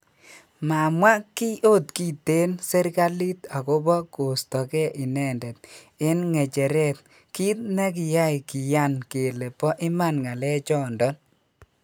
Mamwa ki ot kitten serikalit agopo kosto ge inendet en ngecheret kit ne kyai kiyan kele po iman ngalechondon.